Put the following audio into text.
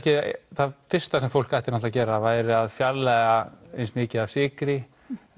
það fyrsta sem fólk ætti að gera væri að fjarlægja eins mikið af sykri